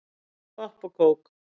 Popp og kók